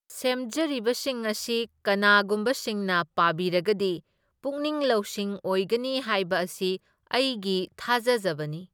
ꯁꯦꯝꯖꯔꯤꯕꯁꯤꯡ ꯑꯁꯤ ꯀꯅꯥꯒꯨꯝꯕꯁꯤꯡꯅ ꯄꯥꯕꯤꯔꯒꯗꯤ ꯄꯨꯛꯅꯤꯡ ꯂꯧꯁꯤꯡ ꯑꯣꯏꯒꯅꯤ ꯍꯥꯏꯕ ꯑꯁꯤ ꯑꯩꯒꯤ ꯊꯖꯖꯕꯅꯤ꯫